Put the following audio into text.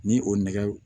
Ni o nɛgɛw